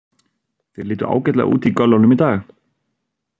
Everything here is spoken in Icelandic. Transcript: Þeir litu ágætlega út í göllunum í dag.